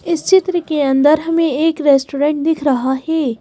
इस चित्र के अंदर हमें एक रेस्टोरेंट दिख रहा है।